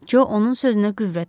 Co onun sözünə qüvvət verdi.